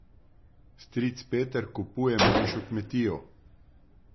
Stric Peter kupuje manjšo kmetijo.